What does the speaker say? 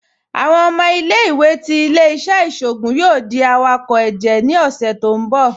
Awọn ọmọ ilẹ̀-iwé ti ilẹ̀-iṣẹ̀ iṣoogun yoo di awakọ ẹjẹ ni ọṣẹ ti n bọ̀.